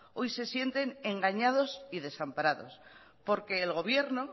hoy se sienten engañados y desamparados porque el gobierno